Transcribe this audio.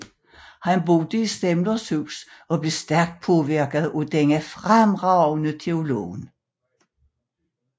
Han boede i Semlers hus og blev stærkt påvirket af denne fremragende teolog